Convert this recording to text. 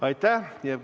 Aitäh!